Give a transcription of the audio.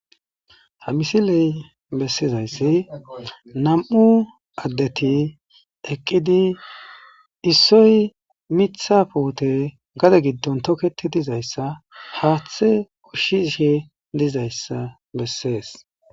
ha misiley bessizayssi nam7u addeti eqqidi issoy mitha poote gade giddon toketi dizayssa haaththe ushshishe dizayssa bessees